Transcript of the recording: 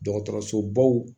Dɔgɔtɔrɔsobaw